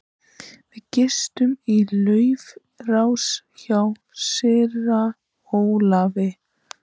Við gistum í Laufási hjá síra Ólafi.